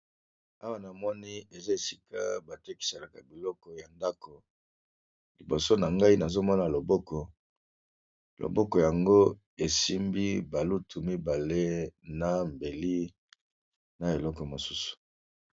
Awa namoni eza esika batekiselaka biloko ya ndako, liboso na ngai nazomona loboko, loboko yango esimbi balutu mibale na mbeli ,na eloko mosusu.